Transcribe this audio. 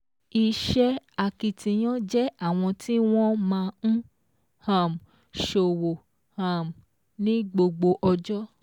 Iṣẹ́ akitiyan jẹ́ àwọn tí wọ́n máa ń um ṣọ̀wọ̀ um ní gbogbo ọjọ́